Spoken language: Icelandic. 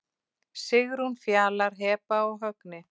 Sigrún, Fjalar, Heba og Högni.